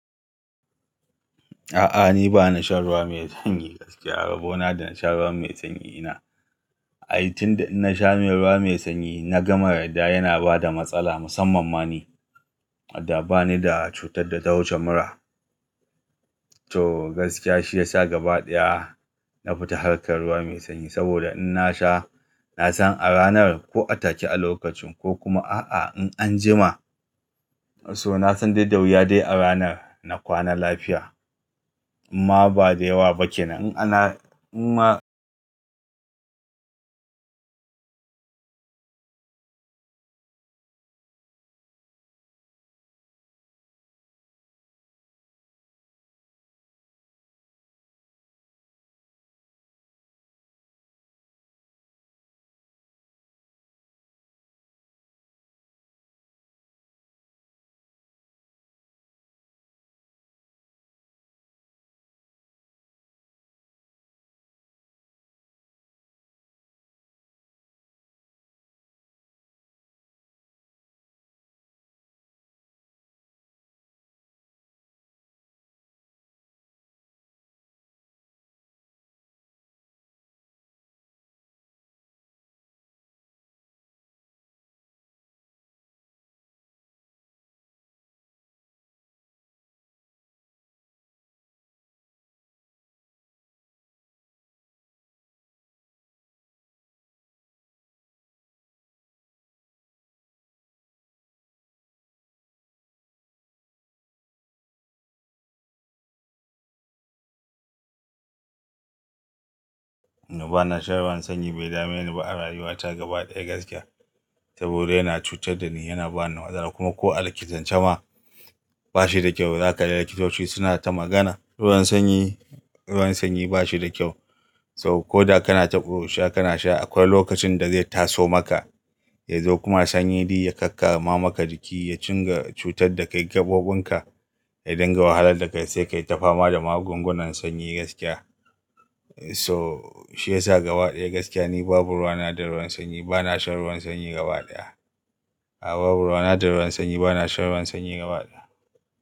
A'a ni ba na shan ruwa mai sanyi gaskiya, rabona da na shan ruwa mai sanyi ina. Ai tunda in na sha ruwa mai sanyi na gama yarda yana bada matsala musamman mani. Ai tunda in na sha ruwa mai sanyi na gama yarda yana bada matsala musamman mani. So gaskiya shi ya sa gaba ɗaya na fita harkar ruwa mai sanyi saboda in na sha, na san a ranar ko a take a lokacin ko kuma a'a in an jima so na san dai da wuya dai a ranar na kwana lafiya. Amma ba da yawa ba ke nan. In ana-- amma na ba na shan ruwan sanyi bai dame ni ba a rayuwa ta gaba ɗaya gaskiya. Saboda yana cutar da ni, yana ba ni matsala kuma ko a likitance ma ba shi da kyau. Za kaga likitoci suna ta magana, "Ruwan sanyi, ruwan sanyi ba shi da kyau." So koda kana taɓo sha kana sha akwai lokacin da zai taso maka, ya zo kuma sanyi di ya kakkama maka jiki ya cin ga cutar da kai gaɓoɓin ka, ya dinga wahalar da kai sai ka yi ta fama da magungunan sanyi gaskiya. So shi ya sa gaba ɗaya gaskiya ni babu ruwana da ruwan sanyi. Ba na shan ruwan sanyi gaba ɗaya. A'a babu ruwana da ruwan sanyi, ba na shan ruwan sanyi gaba ɗaya.